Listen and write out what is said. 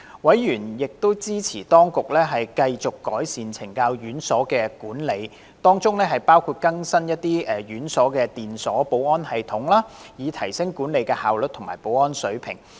委員亦支持當局繼續改善懲教院所的管理，當中包括更新這些院所的電鎖保安系統，以提升管理效率及保安水平。